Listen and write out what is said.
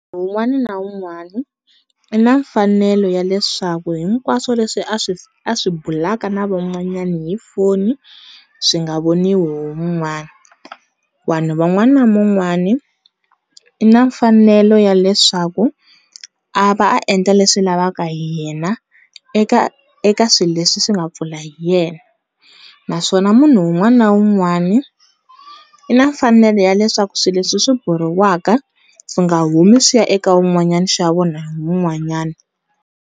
Un'wana na un'wana i na mfanelo ya leswaku hinkwaswo leswi a swi a swi bulaka na van'wanyana hi foni swi nga voniwi hi mun'wana, vanhu van'wana ni van'wana i na mfanelo ya leswaku a va a endla leswi lavaka hi yena eka eka swilo leswi swi nga pfula hi yena naswona munhu un'wana na un'wani i na mfanelo ya leswaku swilo leswi buriwaka swi nga humi swi ya eka un'wanyana swi ya vona hi un'wanyana.